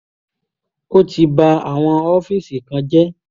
ó ti ba àwọn ọ́fíìsì kan jẹ́